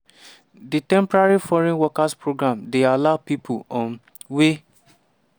di temporary foreign worker programme dey allow pipo um wey